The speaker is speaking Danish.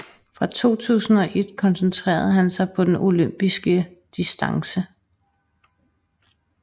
Fra 2001 koncentrere han sig på den Olympisk Distance